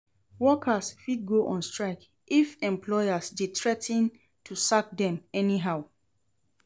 Workers fit go on strike if employers de threa ten to sack dem anyhow